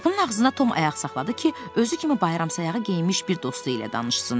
Qapının ağzında Tom ayaq saxladı ki, özü kimi bayram sayağı geyinmiş bir dostu ilə danışsın.